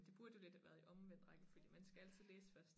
Det burde jo lidt have været i omvendt rækkefølge man skal altid læse først